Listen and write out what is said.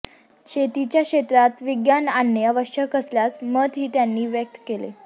शेतीच्या क्षेत्रात विज्ञान आणणे आवश्यक असल्याचं मतंही त्यांनी व्यक्त केलं